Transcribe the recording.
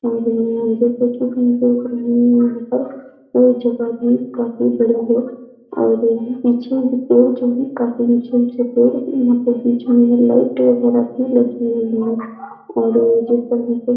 औररर जैसा की हम देख रहे हैं यहाँ पर यह जगह भी काफी बड़ी है और पीछे पेड़ जो है काफी ऊंचे-ऊंचे पेड़ हैं यहाँ पर बीच में लाइट वगेरा भी लगी है और जिस तरह से --